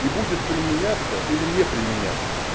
и будет применяться или не применяться